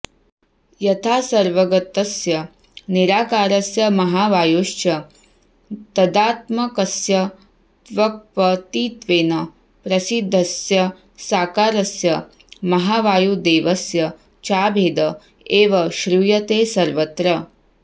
यथा सर्वगतस्य निराकारस्य महावायोश्च तदात्मकस्य त्वक्पतित्वेन प्रसिद्धस्य साकारस्य महावायुदेवस्य चाभेद एव श्रूयते सर्वत्र